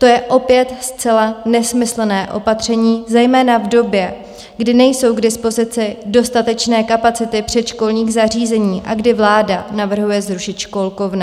To je opět zcela nesmyslné opatření, zejména v době, kdy nejsou k dispozici dostatečné kapacity předškolních zařízení a kdy vláda navrhuje zrušit školkovné.